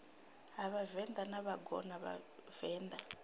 ha vhavenḓa na vhangona vhavenḓa